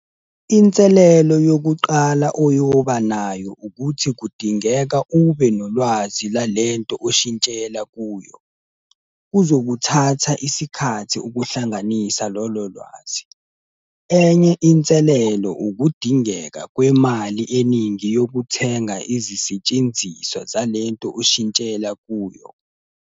Inselelo yokuqala oyoba nayo ukuthi kudingeka ube nolwazi lalento oshintshela kuyo. Kuzokuthatha isikhathi ukuhlanganisa lolo lwazi. Enye inselelo ukudingeka kwemali eningi yokuthenga izisetshenziswa zalento oshintshela kuyo.